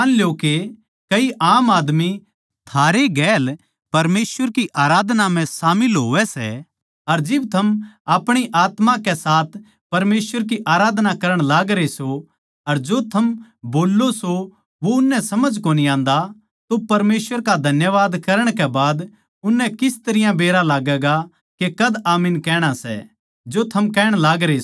मान ल्यो के कई आम आदमी थारे गेल परमेसवर की आराधना म्ह शामिल होवै सै अर जिब थम अपणी आत्मा के साथ परमेसवर की आराधना करण लागरे सों अर जो थम बोल्लो सों वो उननै समझ कोनी आन्दा तो परमेसवर का धन्यवाद करण कै बाद उस ताहीं किस तरियां बेरा लाग्गैगा के कद आमीन कहणा सै जो थम कहण लागरे सों